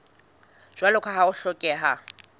jwalo ka ha ho hlokeha